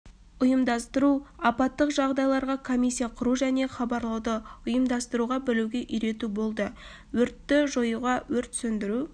ұйымдастыру апаттық жағдайларға комиссия құру және хабарлауды ұйымдастыра білуге үйрету болды өртті жоюға өрт сөндіру